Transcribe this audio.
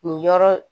Nin yɔrɔ